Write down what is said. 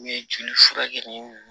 N ye joli furakɛ ni